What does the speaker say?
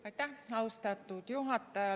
Aitäh, austatud juhataja!